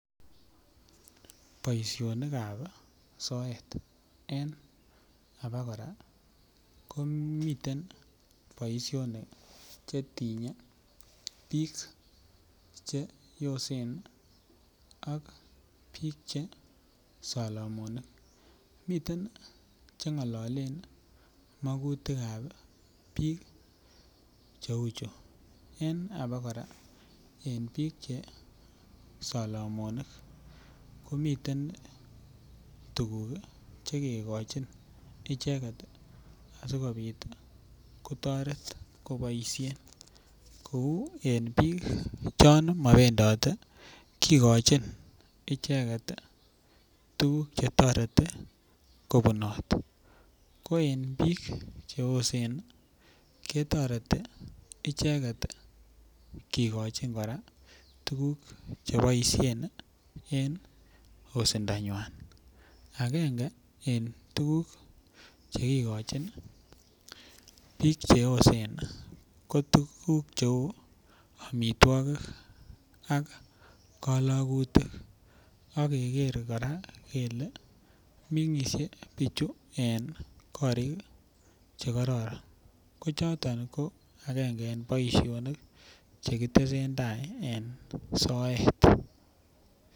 Boisinikab ab soet en abakora komiten boisionik Che tinye bik Che yoosen ak bik Che Solomonik miten bik Che ngalale magutik ab bik cheu chu en abakora bik Che Solomonik komiten tuguk Che kigochin icheget asikobit kotoret koboisien kou en bik chon mobendate kigochin tuguk Che toreti kobunot ko en bik Che yosen ketoreti kigochi kora tuguk Che boisien en yosindanywa agenge en tuguk Che kigochin ii bik Che yosen ko tuguk cheu amitwogik ak kalagutik ak keger kora kele mengisie bichu en korik Che kororon ko choton ko agenge en boisionik Che ki tesentai en soet